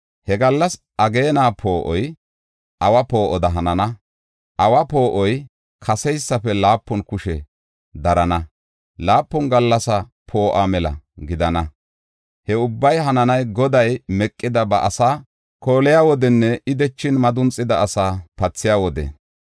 He gallas ageena poo7oy awa poo7oda hanana; awa poo7oy kaseysafe laapun kushe darana; laapun gallas poo7uwa mela gidana. He ubbay hananay Goday meqida ba asaa kooliya wodenne I dechin madunxida asaa pathiya wode.